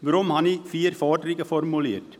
Weshalb habe ich vier Forderungen formuliert?